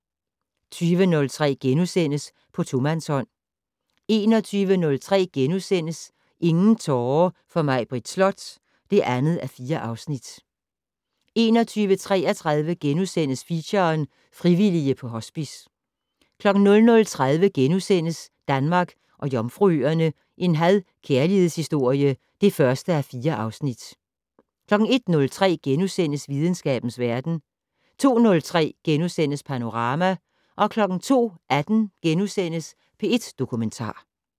20:03: På tomandshånd * 21:03: Ingen tårer for Maibritt Slot (2:4)* 21:33: Feature: Frivillige på Hospice * 00:30: Danmark og Jomfruøerne - en had/kærlighedshistorie (1:4)* 01:03: Videnskabens verden * 02:03: Panorama * 02:18: P1 Dokumentar *